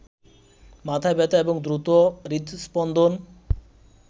মাথা ব্যথা এবং দ্রুত হৃদস্পন্দন